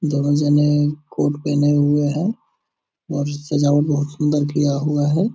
दोनो जने कोट पेहने हुए हैं और सजावट बहोत सुंदर किया हुआ है।